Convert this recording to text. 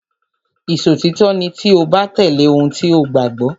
Ìṣòtítọ́ ni tí o bá tẹ̀lé ohun tí o gbàgbọ́.